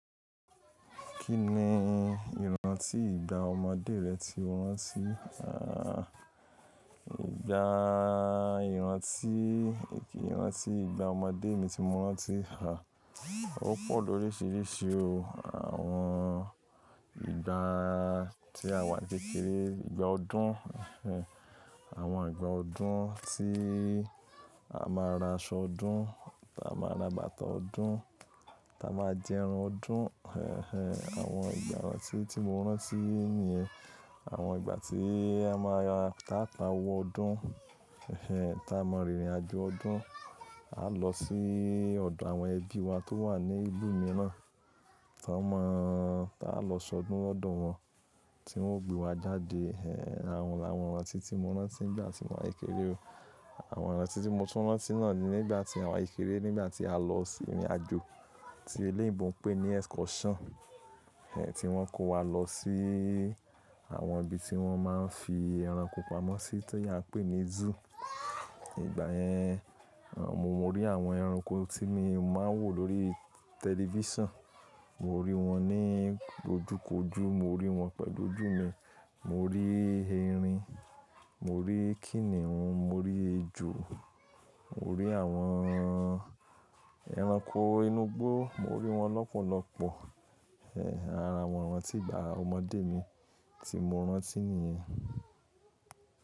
Kí ni ìrántí ìgbà ọmọdé rẹ ti o rántí? Ìgbà ìrántí ìrántí ìgbà ọmọdé mi ti mo rántí Ó pọ̀ lórisiírísii o. Àwọn ìgbà tí à wa n kékeré, ìgbà ọdún. Àwọn ìgbà ọdún tí a máa ra aṣọ ọdún, táa máa ra bàtà ọdún, táa máa jẹ ẹran ọdún. Àwọn ìgbà ìrántí tí mo rántí nìyẹn. Àwọn ìgbà tí a máa táa pa owó ọdún, táa máa rìnrìn àjò ọdún. A lọ sí ọ̀dọ̀ àwọn ẹbí wa tó wà ní ìlú mìíràn, táa má-- táa lọ ṣọdún lọ́dọ̀ wọn tí wọn ó gbé wa jáde. Àwọn làwọn ìrántí tí mo rántí nígbà tí mo wà n kékeré o. Àwọn ìrántí tí mo tún rántí náà ni nígbà tí à wa n kékeré, nígbà tí a lọ sì ìrìn àjò tí eléyìnbọ̀ ń pè ní excursion, tí wọn kó wa lọ sí àwọn ibi tí wọ́n máa ń fi ẹranko pamọ́ sí ti á ń pè ní zoo. Ìgbà yẹn, àwọn mo rí àwọn ẹranko tí mi mo máa ń wò lórí tẹlifísàn. Mo rí wọn ní ojúkoju, mo rí wọn pẹ̀lú ojú mi. Mo rí erin, mo rí kínihún, mo rí ejò, mo rí àwọn ẹranko inú igbó, mo rí wọn lọ́pọ̀lọ́pọ̀. Àwọn ìrántí ìgbà ọmọdé mi tí mo rántí nìyẹn.